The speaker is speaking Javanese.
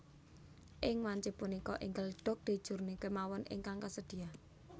Ing wanci punika enggal Dodge Journey kemawon ingkang kasedia